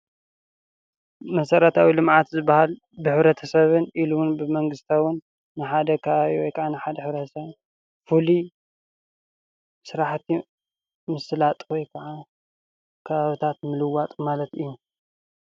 መሰረታዊ ልምዓት ዝብሃል ብሕብረተሰብን ኢሉ እውን ብመንግስታውን ንሓደ ከባቢ ወይ ካዓ ንሓደ ሕ/ሰብ ፍሉይ ስራሕቲ ምስላጥ ወይካዓ ከባቢታት ምልዋጥ ማለት እዩ፡፡